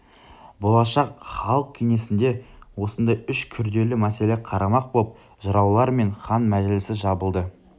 болашақ халық кеңесінде осындай үш күрделі мәселе қарамақ боп жыраулар мен хан мәжілісі жабылды